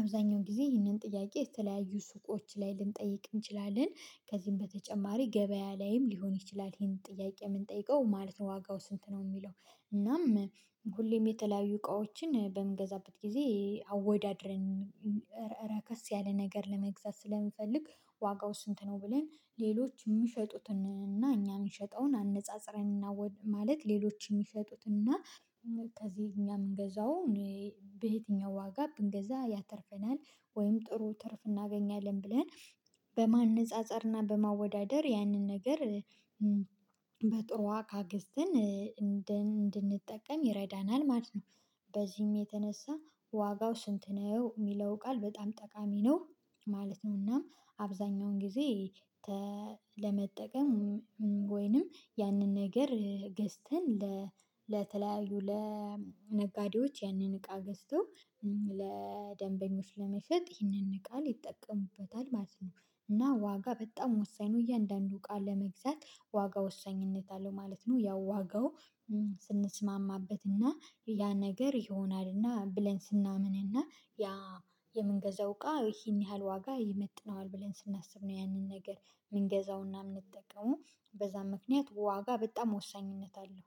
አብዛኛውን ጊዜ ይህንን ጥያቄ የተለያዩ ሱቆች ላይ ልንጠይቅ እንችላለን። ከዚህም በተጨማሪ ገበያ ላይም ሊሆን ይችላል ይሄንን ጥያቄ የምንጠይቀው ማለት ነው ዋጋው ስንት ነው የሚለው? እናም ሁሌም የተለያዩ እቃዎችን በምገዛበት ጊዜ አወዳድረን ረከስ ያለ ነገር ለመግዛት ስለምፈልግ። ዋጋው ስንት ነው ብለን ሌሎች የሚሸጡትን እና እኛ የምንሸጠውን አነጻጽረን እናወድ ማለት ሌሎችን የሚሰጡት እና ከዚህ እኛ የምንገዛው በየትኛው ዋጋ ብንገዛ ያተርፈናል ወይም ጥሩ ትርፍ እናገኛለን ብለን በማነፃፀርና በማወዳደር ያንን ነገር በጥሩ እቃገስትን እንድንጠቀም ይረዳናል ማለት ነው። በዚህም የተነሳ ዋጋው ስንት ነው የሚለው ቃል በጣም ጠቃሚ ነው። ማለት ነውናም አብዛኛውን ጊዜ ለመጠቀም ወይንም ያንን ነገር ገዝተን ለተለያዩ ለነጋዴዎች ያንን እቃ ገዝቶ ለደንበኞች ለመሸጥ ይህንን ቃል ይጠቀሙበታል ማለት ነው። እና ዋጋ በጣም ወሳኝ ነው። እያንዳንዱን እቃ ለመግዛት ዋጋ ወሳኝነት አለው ማለት ነው። ያው ዋጋው ስንስማማበት እና ያ ነገር ይሆናል እና ብለን ስናምንና ያ የምንገዛው እቃ ይሄን ያህል ዋጋ ይመጥነዋል ብለን ስናስብ ነው ያንን ነገር የምንገዛውና የምንጠቀመው በዛ ምክንያት ዋጋ በጣም ወሳኝነት አለው